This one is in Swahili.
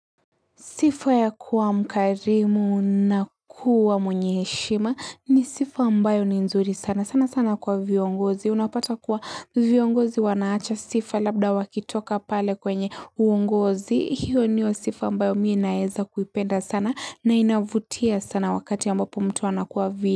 Sifa ya kua mkarimu na kuwa mwenye heshima ni sifa ambayo ni nzuri sana sana sana kwa viongozi. Unapata kua viongozi wanaacha sifa labda wakitoka pale kwenye uongozi. Hio niyo sifa ambayo mi naeza kuipenda sana na inavutia sana wakati ambapo mtu anakuwa vi.